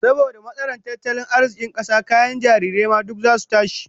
Saboda matsalar tattalin arzikin kasa, kayan jarirai ma duk zasu tashi